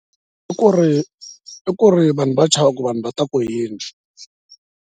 I ku ri i ku ri vanhu va chava ku vanhu va ta ku yini.